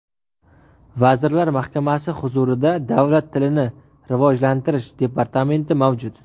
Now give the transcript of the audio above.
Vazirlar Mahkamasi huzurida Davlat tilini rivojlantirish departamenti mavjud.